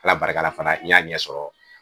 ALA barika la fana n y'a ɲɛ sɔrɔ.